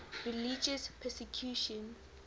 religious persecution